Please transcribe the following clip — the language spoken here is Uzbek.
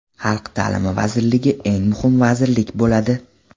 Xalq ta’limi vazirligi eng muhim vazirlik bo‘ladi.